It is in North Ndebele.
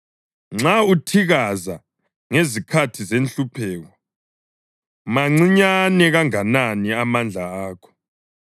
Nxa uthikaza ngezikhathi zenhlupheko, mancinyane kanganani amandla akho!